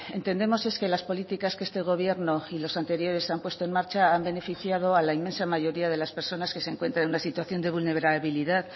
entendemos es que las políticas que este gobierno y los anteriores han puesto en marcha han beneficiado a la inmensa mayoría de las personas que se encuentran en una situación de vulnerabilidad